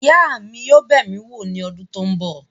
Ìyá mi yóò bẹ̀ mí wò ní ọdún tó ń bọ̀.